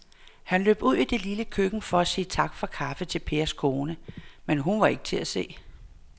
Han løb ud i det lille køkken for at sige tak for kaffe til Pers kone, men hun var ikke til at se.